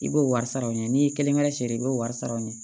I b'o wari sara aw ɲɛ n'i ye kelen kɛ siri i b'o wari sara u ɲɛ